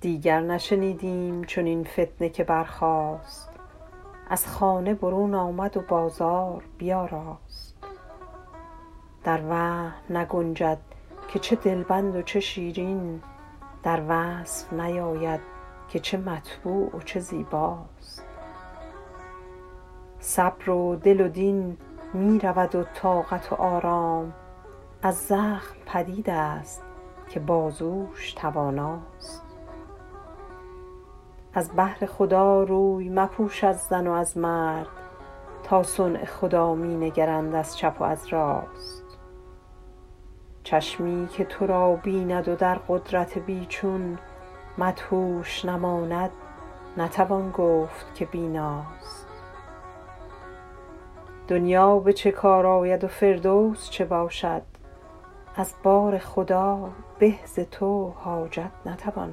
دیگر نشنیدیم چنین فتنه که برخاست از خانه برون آمد و بازار بیاراست در وهم نگنجد که چه دلبند و چه شیرین در وصف نیاید که چه مطبوع و چه زیباست صبر و دل و دین می رود و طاقت و آرام از زخم پدید است که بازوش تواناست از بهر خدا روی مپوش از زن و از مرد تا صنع خدا می نگرند از چپ و از راست چشمی که تو را بیند و در قدرت بی چون مدهوش نماند نتوان گفت که بیناست دنیا به چه کار آید و فردوس چه باشد از بارخدا به ز تو حاجت نتوان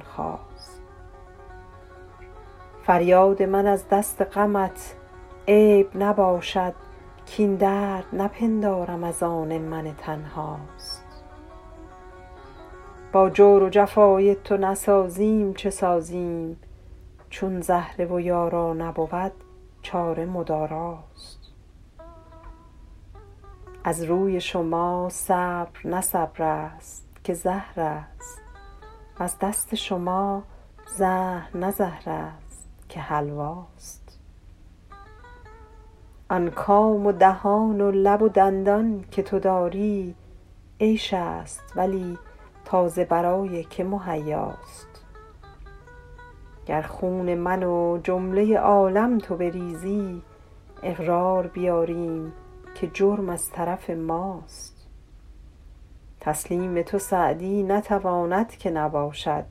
خواست فریاد من از دست غمت عیب نباشد کاین درد نپندارم از آن من تنهاست با جور و جفای تو نسازیم چه سازیم چون زهره و یارا نبود چاره مداراست از روی شما صبر نه صبر است که زهر است وز دست شما زهر نه زهر است که حلواست آن کام و دهان و لب و دندان که تو داری عیش است ولی تا ز برای که مهیاست گر خون من و جمله عالم تو بریزی اقرار بیاریم که جرم از طرف ماست تسلیم تو سعدی نتواند که نباشد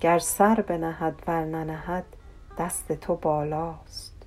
گر سر بنهد ور ننهد دست تو بالاست